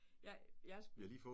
Jeg jeg